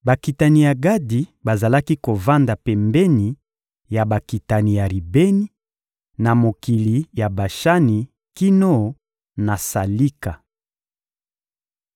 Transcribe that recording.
Bakitani ya Gadi bazalaki kovanda pembeni ya bakitani ya Ribeni, na mokili ya Bashani kino na Salika.